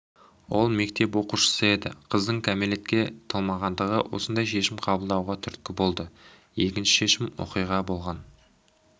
ол мектеп оқушысы еді қыздың кәмелетке толмағандығы осындай шешім қабылдауға түрткі болды екінші шешім оқиға болған